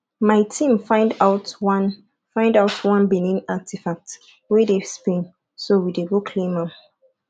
my team find out one find out one benin artefact wey dey spain so we dey go claim am